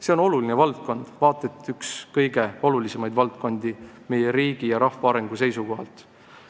See on oluline valdkond, vaata et üks kõige olulisemaid valdkondi meie riigi ja rahva arengu seisukohalt.